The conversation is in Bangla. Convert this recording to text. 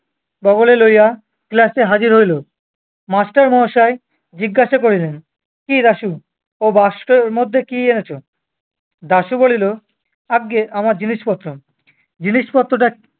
বগলে লইয়া class এ হাজির হইল। master মহাশয় জিজ্ঞাসা করিলেন, কি দাশু, ও বাস্কের মধ্যে কি এনেছ? দাশু বলিল, আজ্ঞে আমার জিনিসপত্র। জিনিসপত্রটা-